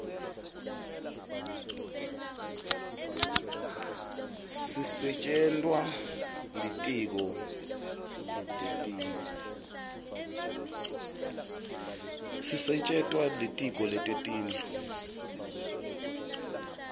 sisetjentwa litiko letetindlu